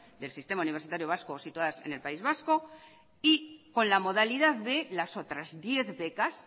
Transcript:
del sistema universitario vasco o situadas en el país vasco y con la modalidad de las otras diez becas